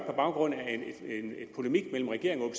på baggrund af en polemik mellem regeringen og